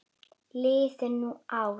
Liðu nú ár.